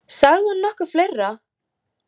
Sagði hún nokkuð fleira?